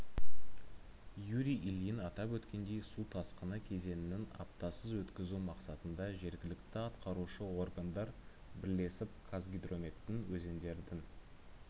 юрий ильин атап өткендей су тасқыны кезеңінің апатсыз өткізу мақсатында жергілікті атқарушы органдар бірлесіп қазгидрометтің өзендердің